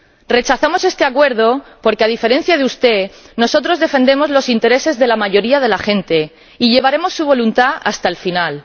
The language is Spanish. Rechazamos este Acuerdo porque, a diferencia de usted, nosotros defendemos los intereses de la mayoría de la gente y llevaremos su voluntad hasta el final.